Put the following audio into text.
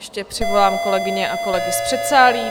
Ještě přivolám kolegyně a kolegy z předsálí.